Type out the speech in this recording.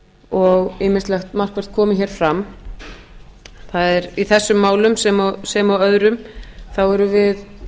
og ýmislegt markvert komið þar fram það er í þessum málum sem öðrum þá erum við